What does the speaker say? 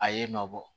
A ye nɔ bɔ